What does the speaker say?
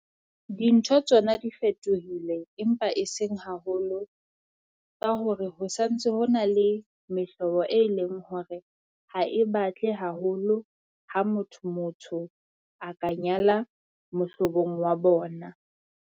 Dintho tsona di fetohile empa e seng haholo. Ka hore ho santse ho na le mehlobo e leng hore ha e batle haholo ha motho motho a ka nyala mohlobong wa bona.